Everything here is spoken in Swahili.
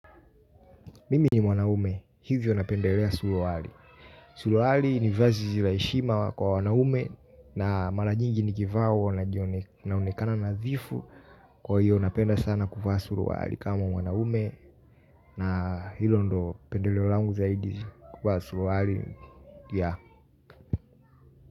Mimi ni mwanaume hivyo napendelea suruali. Suruali ni vazizi laishima kwa wanaume. Na mala nyingi ni kivaa huwana jionekana nazifu. Kwa hivyo napenda sana kuvaa suruali kama mwanaume. Na hilo ndo pendeleo langu zaidi kuvaa suruali ya.